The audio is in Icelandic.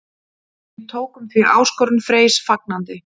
Við tókum því áskorun Freys fagnandi.